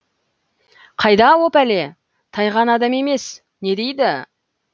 қайда о пәле тайған адам емес не дейді